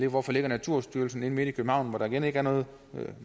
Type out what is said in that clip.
hvorfor ligger naturstyrelsen inde midt i københavn hvor der igen ikke er noget